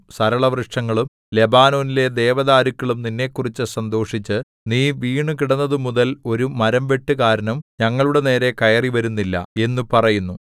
സരളവൃക്ഷങ്ങളും ലെബാനോനിലെ ദേവദാരുക്കളും നിന്നെക്കുറിച്ച് സന്തോഷിച്ച് നീ വീണുകിടന്നതുമുതൽ ഒരു മരംവെട്ടുകാരനും ഞങ്ങളുടെ നേരെ കയറിവരുന്നില്ല എന്നു പറയുന്നു